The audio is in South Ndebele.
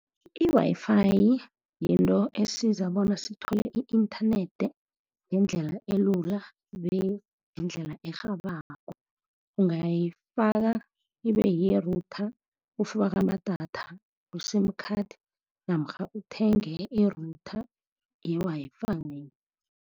I-Wi-Fi yinto esiza bona sithole i-inthanethi ngendlela elula, be ngendlela arhabako. Ungayifaka ibe yi-router, ufake amadatha ku-sim card, namkha uthenge i-router ye-Wi-Fi.